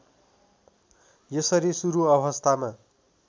यसरी सुरु अवस्थामा